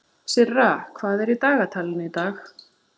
Sirra, hvað er í dagatalinu í dag?